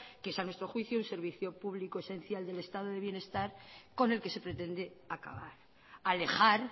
que es a nuestro juicio un servicio público esencial del estado del bienestar con el que se pretende acabar alejar